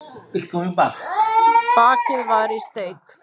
Bakið var í steik